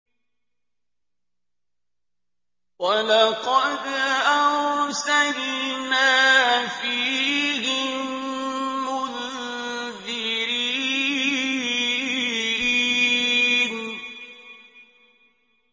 وَلَقَدْ أَرْسَلْنَا فِيهِم مُّنذِرِينَ